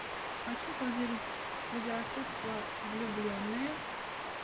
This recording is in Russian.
хочу позырить безрассудство влюбленные